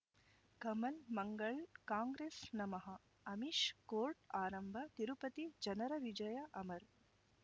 ಕಮಲ್ ಮಂಗಳ್ ಕಾಂಗ್ರೆಸ್ ನಮಃ ಅಮಿಷ್ ಕೋರ್ಟ್ ಆರಂಭ ತಿರುಪತಿ ಜನರ ವಿಜಯ ಅಮರ್